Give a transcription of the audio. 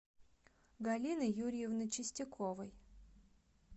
галины юрьевны чистяковой